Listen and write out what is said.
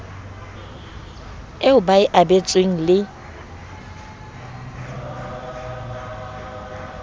eo ba e abetsweng le